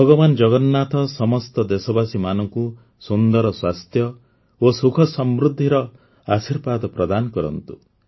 ଭଗବାନ ଜଗନ୍ନାଥ ସମସ୍ତ ଦେଶବାସୀମାନଙ୍କୁ ସୁନ୍ଦର ସ୍ୱାସ୍ଥ୍ୟ ଓ ସୁଖସମୃଦ୍ଧିର ଆଶୀର୍ବାଦ ପ୍ରଦାନ କରନ୍ତୁ